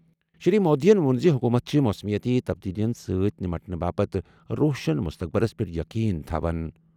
شری مودیَن ووٚن زِ حکومت چھِ موسمیٲتی تبدیلیَن سۭتۍ نمٹنہٕ تہٕ روشن مستقبلَس پٮ۪ٹھ یقین تھاوَن۔